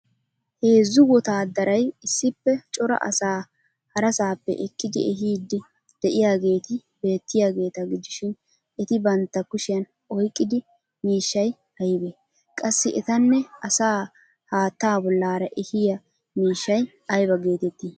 Hezzu wotaaddaray issippe cora asaa harasaappe ekkidi ehiiddi de'iyaageeti beettiyageeta gidishin eti bantta kushiyan oyqqidi miishshay aybee? Qassi etanne asaa haattaa bollaara ehiya miishshay ayba geettettii?